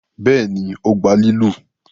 béèni o gbà lilu?